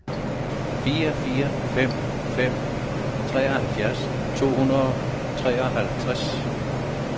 fire fire fem fem treoghalvfems to hundrede og treoghalvtreds